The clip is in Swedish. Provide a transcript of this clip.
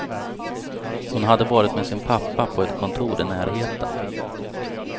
Hon hade varit med sin pappa på ett kontor i närheten.